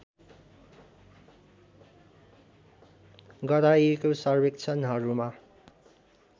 गराइएको सर्वेक्षणहरूमा